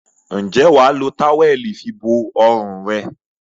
Ǹjẹ́ wà á lo táwẹ́ẹ́lì fibo ọrùn rẹ?